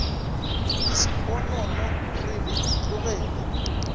le sponono re le tlogele